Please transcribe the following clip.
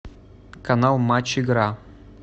канал матч игра